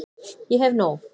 Ég hef nóg.